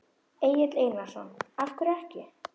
Egill Einarsson: Af hverju ekki?